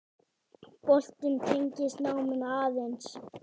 Boltinn tengist náminu aðeins.